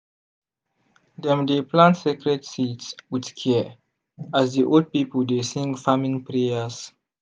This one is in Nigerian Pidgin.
dem dey plant sacred seeds with care as di old people dey sing farming prayers.